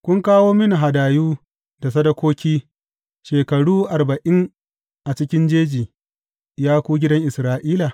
Kun kawo mini hadayu da sadakoki shekaru arba’in a cikin jeji, ya ku gidan Isra’ila?